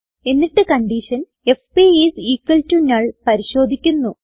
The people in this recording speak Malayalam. എന്നിട്ട് condition FP is equals to null പരിശോദിക്കുന്നു